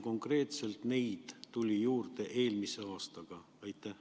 Konkreetselt mitu neid tuli eelmisel aastal juurde?